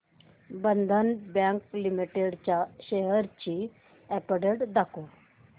बंधन bank limited च्या shares ची update दाखव